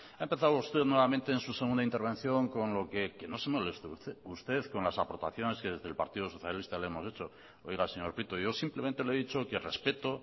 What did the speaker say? ha empezado usted nuevamente en su segunda intervención con lo que que no se moleste usted con las aportaciones que desde el partido socialista le hemos hecho oiga señor prieto yo simplemente le he dicho que respeto